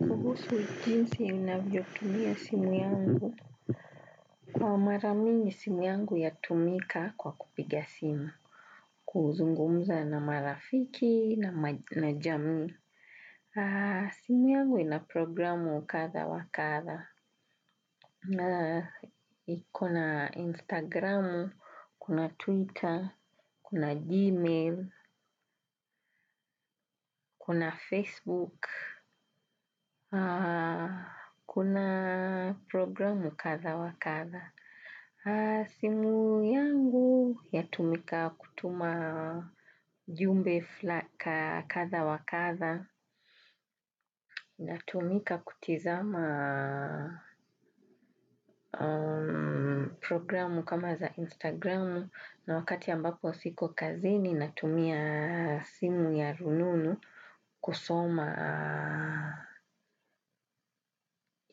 Kuhusu jinsi ninavyo tumia simu yangu. Kwa mara mingi simu yangu yatumika kwa kupiga simu. Kuzungumza na marafiki na jamii. Simu yangu ina programu wa kadha wa kadha. Kuna Instagram, kuna Twitter, kuna Gmail, kuna Facebook. Kuna programu ukatha wakatha. Simu yangu yatumika kutuma ujumbe kadha wa kadha. Natumika kutizama programu kama za Instagram. Na wakati ambapo siko kazini natumia simu ya rununu kusoma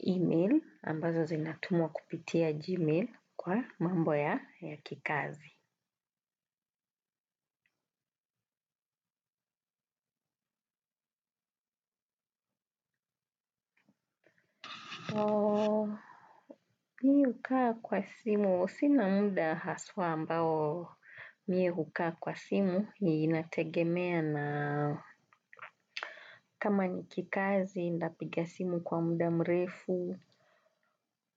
email ambazo zinatumwa kupitia Gmail kwa mambo ya kikazi. Mimi hukaa kwa simu, sina muda haswa ambao mimi hukaa kwa simu, inategemea na kama ni kikazi, nitapiga simu kwa muda mrefu,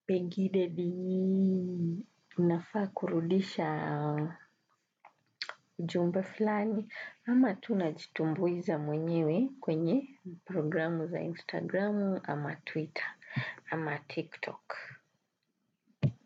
pengine nafaa kurudisha jambo filani, ama tu najitumbuiza mwenyewe kwenye programu za instagramu, ama twitter, ama tiktok.